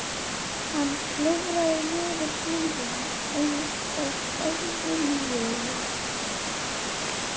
Hann klifraði niður hlíðina einsog óviljugur.